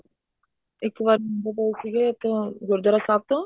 ਇੱਕ ਵਾਰ ਗੁਜਰ ਰਹੇ ਸੀਗੇ ਗੁਰੂਦਵਾਰਾ ਸਾਹਿਬ ਤੋਂ